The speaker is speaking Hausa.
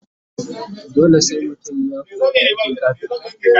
dole sai mutum ya koya aikin kafinta?